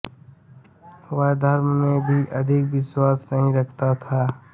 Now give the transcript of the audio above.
वह धर्म में भी अधिक विश्वास नहीं रखता था